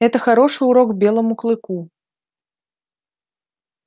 это хороший урок белому клыку